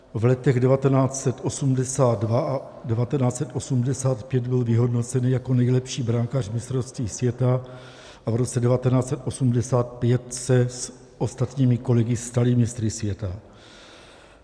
V letech 1982 a 1985 byl vyhodnocen jako nejlepší brankář mistrovství světa a v roce 1985 se s ostatními kolegy stali mistry světa.